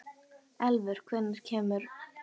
Elfur, hvenær kemur ásinn?